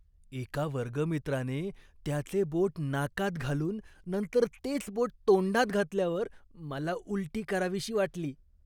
एका वर्गमित्राने त्याचे बोट नाकात घालून नंतर तेच बोट तोंडात घातल्यावर मला उलटी करावीशी वाटली.